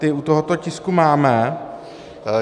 Ty u tohoto tisku máme.